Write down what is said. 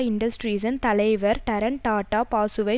இண்டஸ்ட்ரீஸின் தலைவர் ரடன் டாட்டா பாசுவை